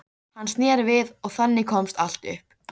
Hann sneri við og þannig komst allt upp.